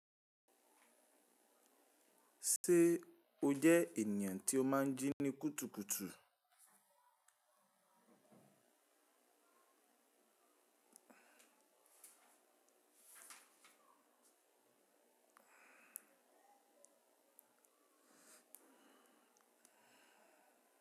Ṣé o jẹ ènìyàn tí ó máa ń jí ní kùtùkùtù?